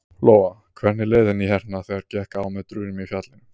Lóa: Hvernig leið henni hérna þegar gekk á með drunum í fjallinu?